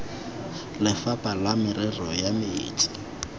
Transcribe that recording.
lefapha la merero ya metsi